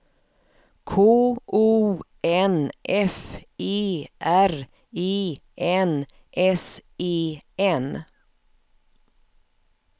K O N F E R E N S E N